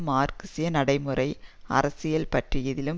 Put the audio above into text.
மார்க்சிச நடைமுறை அரசியல் பற்றியதிலும்